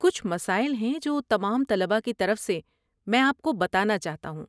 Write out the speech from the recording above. کچھ مسائل ہیں جو تمام طلبہ کی طرف سے میں آپ کو بتانا چاہتا ہوں۔